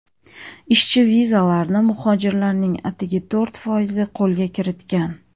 Ishchi vizalarni muhojirlarning atigi to‘rt foizi qo‘lga kiritgan.